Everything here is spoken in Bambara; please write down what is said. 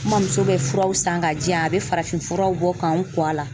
N mɔmuso bɛ furaw san ka diyan a bɛ farafinfuraw bɔ k'an kɔ a la.